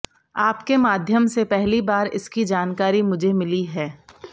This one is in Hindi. आपके माध्यम से पहली बार इसकी जानकारी मुझे मिला है